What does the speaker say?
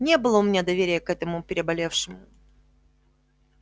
не было у меня доверия к этому переболевшему